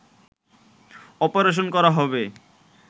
operation করা হবে